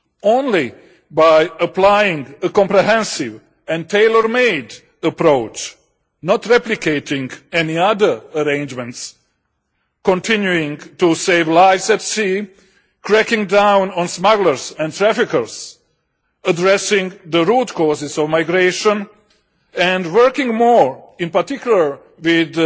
Only by applying a comprehensive and tailor made approach not replicating any other arrangements continuing to save lives at sea, cracking down on smugglers and traffickers, addressing the root causes of migration and working more in particular with